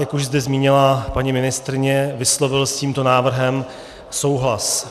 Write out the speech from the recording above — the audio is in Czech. Jak už zde zmínila paní ministryně, vyslovil s tímto návrhem souhlas.